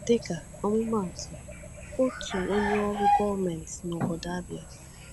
Dịka ọmụmaatụ, otu onye ọrụ gọọmenti n’obodo Abia.